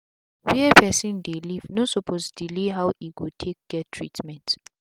where person dey live no suppose delay how e go take get treatment